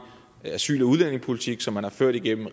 asyl og udlændingepolitik som man har ført igennem